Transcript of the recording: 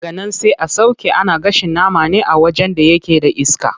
Daganan sai a sauƙe, ana gashin nama ne a wajen da yake da iska.